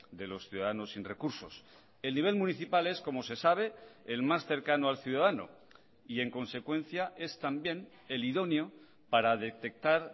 de los ciudadanos sin recursos el nivel municipal es como se sabe el más cercano al ciudadano y en consecuencia es también el idóneo para detectar